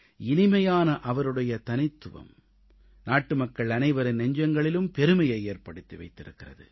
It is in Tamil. இனிமையான அவருடைய தனித்துவம் நாட்டுமக்கள் அனைவரின் நெஞ்சங்களிலும் பெருமையை ஏற்படுத்தி வைக்கிறது